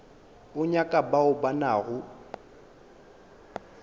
o nyaka bao ba nago